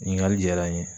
Ɲininkali diyara n ye